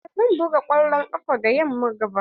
A'a ba zan buga kwallon ƙafa da yamman ga ba.